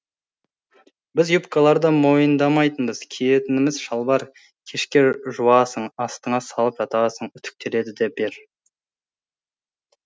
біз юбкаларды мойындамайтынбыз киетініміз шалбар кешке жуасың астыңа салып жатасың үтіктелді дей бер